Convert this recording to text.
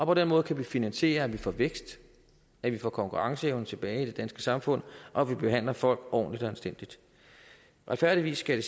på den måde kan vi finansiere at vi får vækst at vi får konkurrenceevnen tilbage i det danske samfund og at vi behandler folk ordentligt og anstændigt retfærdigvis skal